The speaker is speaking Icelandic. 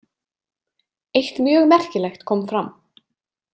Eitt mjög merkilegt kom fram.